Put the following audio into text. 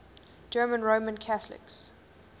german roman catholics